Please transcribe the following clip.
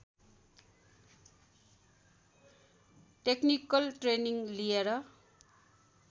technical training लिएर